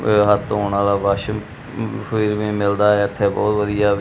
ਤੇ ਹੱਥ ਧੋਣ ਵਾਲਾ ਵਾਸ਼ ਵੀ ਮਿਲਦਾ ਇੱਥੇ ਬਹੁਤ ਵਧੀਆ--